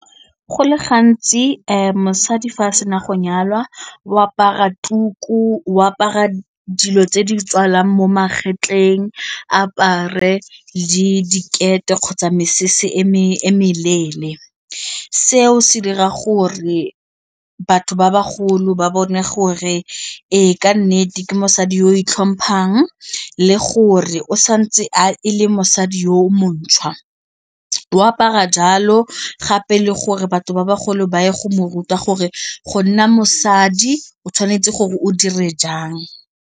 Go le gantsi mosadi fa a se na go nyalwa o apara tuku o apara dilo tse di tswalang mo magetleng apare le dikete kgotsa mesese e meleele seo se dira gore batho ba bagolo ba bone gore ee ke nnete ke mosadi yo o itlhomphang le gore o santse e le mosadi yo o montšhwa, o apara jalo gape le gore batho ba bagolo ba ye go mo ruta gore go nna mosadi o tshwanetse gore o dire jang.